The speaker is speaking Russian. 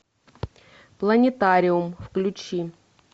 планетариум включи